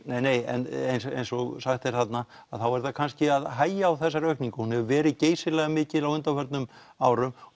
nei en eins og sagt er þarna að þá er það kannski að hægja á þessari aukningu hún hefur verið geysilega mikil á undanförnum árum